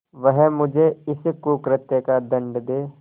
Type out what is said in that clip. वह मुझे इस कुकृत्य का दंड दे